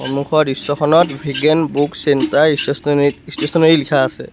সন্মুখৰ দৃশ্যখনত Bigyan book centre ষ্টেশ্যনাৰীক ষ্টেশ্যনাৰী লিখা আছে।